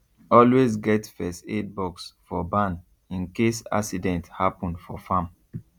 always get first aid box for barn in case accident happen for farm